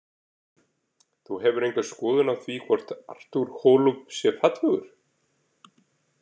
Þú hefur enga skoðun á því hvort Artur Holub sé fallegur?